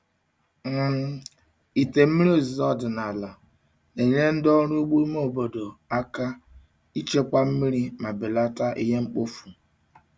um Ite mmiri ozuzo ọdịnala na-enyere ndị ọrụ ugbo ime obodo aka ichekwa mmiri ma belata ihe mkpofu.